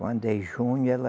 Quando é junho ela